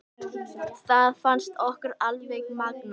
Það fannst okkur alveg magnað.